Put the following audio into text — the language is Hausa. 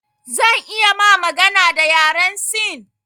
Zan iya ma magana da yaren sin